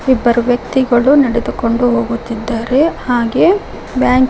ಇಬ್ಬರು ವ್ಯಕ್ತಿಗಳು ನಡೆದುಕೊಂಡು ಹೋಗುತ್ತಿದ್ದಾರೆ ಹಾಗೆ ಬ್ಯಾ--